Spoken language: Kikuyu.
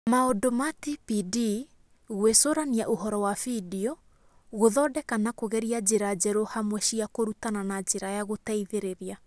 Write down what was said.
Maũndũ ma TPD: Gwĩcũrania ũhoro wa vidio, gũthondeka na kũgeria njĩra njerũ hamwe cia kũrutana na njĩra ya gũteithĩrĩria